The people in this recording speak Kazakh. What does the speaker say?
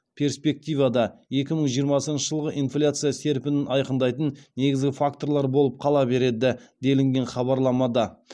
перспективада екі мың жиырмасыншы жылғы инфляция серпінін айқындайтын негізгі факторлар болып қала береді делінген хабарламада